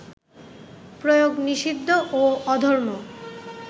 প্রয়োগ নিষিদ্ধ ও অধর্ম